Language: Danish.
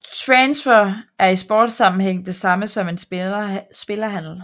En transfer er i sportssammenhæng det samme som en spillerhandel